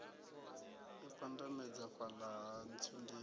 i pandamedza fhala ha ntsundeni